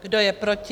Kdo je proti?